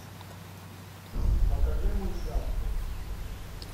покажи мультяшку